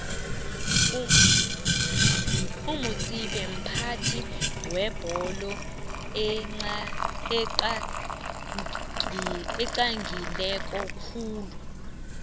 umutsipe mphathi webolo oxagileko khulu